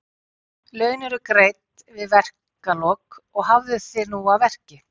Laun eru greidd við verkalok og hafðu þig nú að verki.